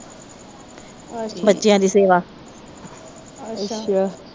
ਬੱਚਿਆਂ ਦੀ ਸੇਵਾ